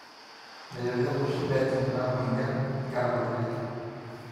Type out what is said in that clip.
melelek oshi pee ejing ina mweyian inkera kutitik